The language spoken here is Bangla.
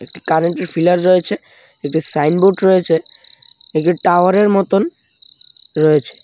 একটি কারেন্টের ফিলার রয়েছে একটি সাইনবোর্ড রয়েছে একটি টাওয়ারের মতন রয়েছে.